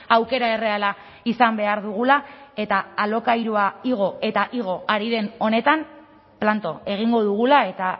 aukera erreala izan behar dugula eta alokairua igo eta igo ari den honetan planto egingo dugula eta